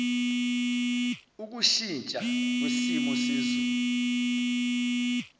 ukushintsha kwesimo sezulu